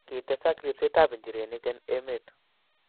Kitesak ribsetab nchirenik eng' emet.